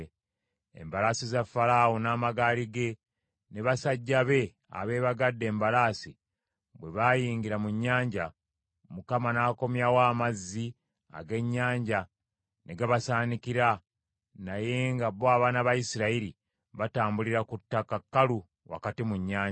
Embalaasi za Falaawo, n’amagaali ge, ne basajja be abeebagadde embalaasi bwe baayingira mu nnyanja, Mukama n’akomyawo amazzi ag’ennyanja ne gabasaanikira; naye nga bo abaana ba Isirayiri batambulira ku ttaka kkalu wakati mu nnyanja.